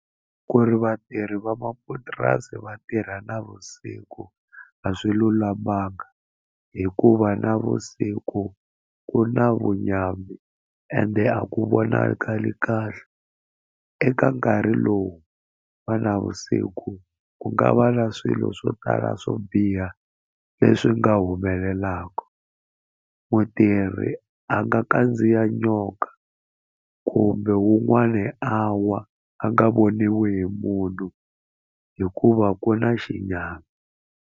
Ku ri vatirhi va mapurasi va tirha navusiku a swi lulamanga hikuva navusiku ku na vunyami ende a ku vonakali kahle eka nkarhi lowu wa navusiku ku nga va na swilo swo tala swo biha leswi nga humelelaka mutirhi a nga kandziya nyoka kumbe wun'wani a wa a nga voniwi hi munhu hikuva ku na xinyama.